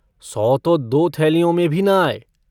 सौ तो दो थैलियों में भी न आये।